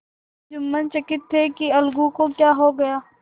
जुम्मन चकित थे कि अलगू को क्या हो गया